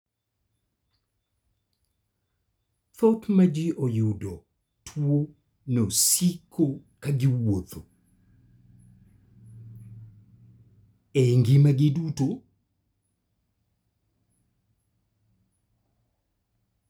Thoth ji ma oyudo tuo no siko ka giwuotho ??e ngimagi duto.